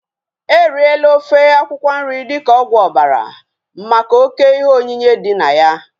Eriela ofe akwụkwọ nri dịka ọgwụ ọbara maka oké ihe onyinye dị na ya